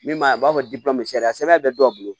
Min m'a fɔ sariya sɛbɛn bɛ dɔw bolo